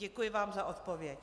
Děkuji vám za odpověď.